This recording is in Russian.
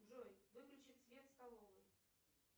джой выключи свет в столовой